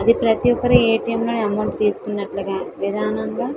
ప్రతి ఒకరు A. T. M. లోనే అమౌంట్ తీసుకున్నట్లుగా --